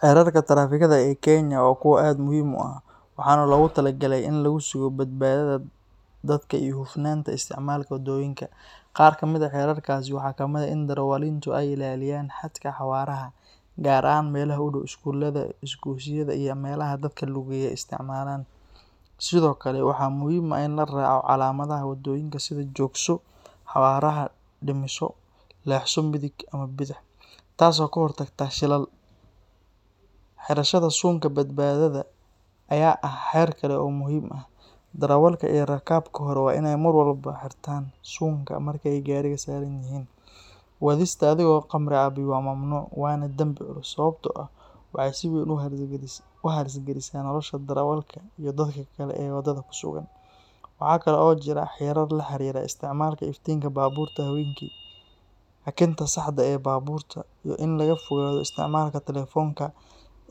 Xeerarka trafikada ee Kenya waa kuwo aad muhiim u ah, waxaana loogu talagalay in lagu sugo badbaadada dadka iyo hufnaanta isticmaalka waddooyinka. Qaar kamid ah xeerarkaasi waxaa ka mid ah in darawaliintu ay ilaaliyaan xadka xawaaraha, gaar ahaan meelaha u dhow iskuulada, isgoysyada, iyo meelaha dadka lugeeya ay isticmaalaan. Sidoo kale, waxaa muhiim ah in la raaco calaamadaha waddooyinka sida “joogso”, “xawaaraha dhimiso”, “leexso midig” ama bidix”, taas oo ka hortagta shilal. Xirashada suunka badbaadada ayaa ah xeer kale oo muhiim ah; darawalka iyo rakaabka hore waa inay mar walba xirtaan suunka marka ay gaariga saaran yihiin. Wadista adigoo khamri cabay waa mamnuuc, waana dembi culus, sababtoo ah waxay si weyn u halis galisaa nolosha darawalka iyo dadka kale ee waddada ku sugan. Waxaa kale oo jira xeerar la xiriira isticmaalka iftiinka baabuurta habeenkii, hakinta saxda ah ee baabuurta, iyo in laga fogaado isticmaalka telefoonka